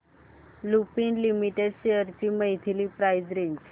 Lupin limited shares ची monthly price range